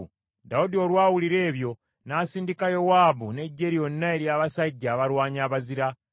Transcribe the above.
Dawudi olwawulira ebyo, n’asindika Yowaabu n’eggye lyonna ery’abasajja abalwanyi abazira.